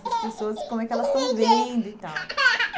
Essas pessoas, como é que elas estão vendo e tal.